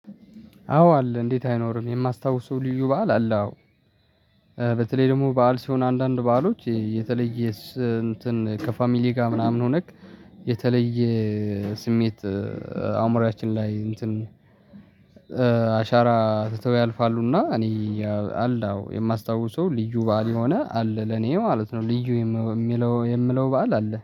አዎ አለ እንዴት አይኖርም የማስታውሰው ልዩ በዓል አለ አዎ። በተለይ ደግሞ በዓል ሲሆን አንዳንድ በዓሎች የተለየ እንትን ከፋሚሊ ጋር ምናምን ሆነክ የተለየ ስሜት አእምሮአችን ላይ እንትን አሻራ ትተው ያልፋሉና። እኔ አለ አዎ የማስታውሰው ልዩ በዓል የሆነ አለ ለኔ ማለት ነው። ልዩ የሚለው የምለው በዓል አለ